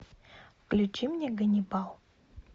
включи мне ганнибал